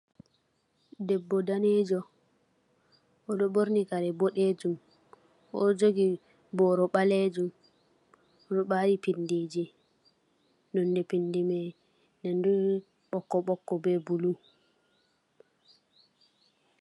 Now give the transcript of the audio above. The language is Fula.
Debbo danejo, o ɗo ɓorni kare boɗejum. O ɗo jogi boro ɓaleejum, o ɗo ɓaari pindiji nonde pindi mai nandu ɓokko-ɓokko be blu.